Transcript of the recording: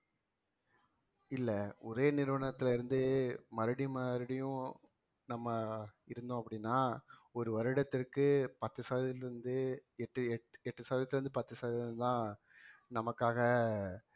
இல்லை ஒரே நிறுவனத்துல இருந்து மறுபடியும் மறுபடியும் நம்ம இருந்தோம் அப்படின்னா ஒரு வருடத்திற்கு பத்து சதவீதத்திலிருந்து எட்டு எட்டு சதவீதத்திலிருந்து பத்து சதவீதம்தான் நமக்காக